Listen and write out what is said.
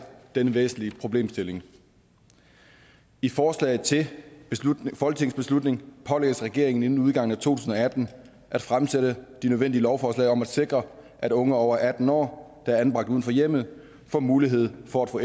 denne væsentlige problemstilling i forslaget til folketingsbeslutning pålægges regeringen ingen udgangen af to tusind og atten at fremsætte de nødvendige lovforslag om at sikre at unge over atten år der er anbragt uden for hjemmet får mulighed for at få